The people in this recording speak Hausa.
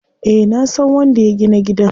Eh nasan wanda ya gina gidan.